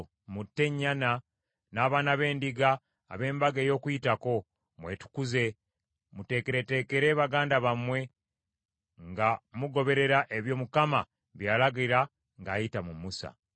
Mutte ennyana n’abaana b’endiga ab’Embaga ey’Okuyitako, mwetukuze, muteekereteekere baganda bammwe, nga mugoberera ebyo Mukama bye yalagira ng’ayita mu Musa.”